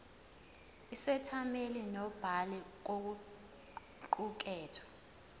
isethameli nombhali kokuqukethwe